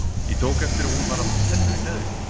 Ég tók eftir að hún var að fá tennur í neðri góm.